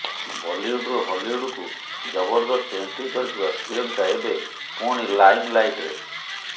ବଲିଉଡ଼ରୁ ହଲିଉଡ଼କୁ ଜବରଦସ୍ତ ଏଣ୍ଟ୍ରି କରିଥିବା ପ୍ରିୟଙ୍କା ଏବେ ପୁଣି ଲାଇମ ଲାଇଟରେ